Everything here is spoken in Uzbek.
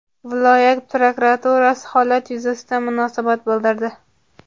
Viloyat prokuraturasi holat yuzasidan munosabat bildirdi.